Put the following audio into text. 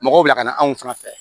Mɔgɔw bila ka na anw fana fɛ